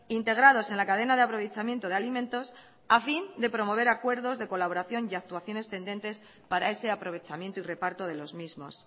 integrados en la cadena de aprovechamiento de alimentos a fin de promover acuerdos de colaboración y actuaciones tendentes para ese aprovechamiento y reparto de los mismos